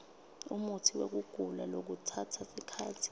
umutsiwekugula lokutsatsa sikhatsi